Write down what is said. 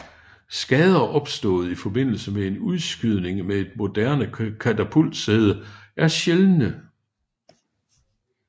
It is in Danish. Skader opstået i forbindelse med en udskydning med et moderne katapultsæde er sjældne